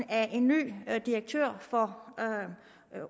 af en ny direktør for